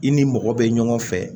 I ni mɔgɔ bɛ ɲɔgɔn fɛ